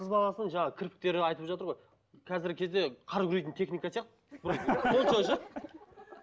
қыз баласының жаңағы кірпіктері айтып жатыр ғой қазіргі кезде қар күрейтін техника сияқты